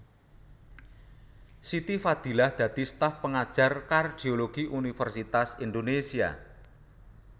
Siti Fadilah dadi staf pengajar kardiologi Universitas Indonésia